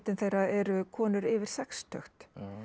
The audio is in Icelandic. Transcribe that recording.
þeirra eru konur yfir sextugt